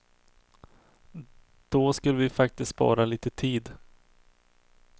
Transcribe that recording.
Då skulle vi faktiskt spara lite tid.